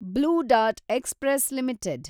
blue Dart Express limited